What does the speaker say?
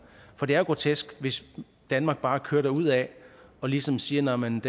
for det er jo grotesk hvis danmark bare kører derudad og ligesom siger nå men